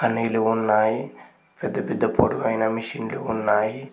అనీలు ఉన్నాయి పెద్ద పెద్ద పొడువైన మిషిన్లు ఉన్నాయి.